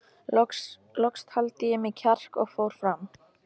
Loks taldi ég í mig kjark og fór fram.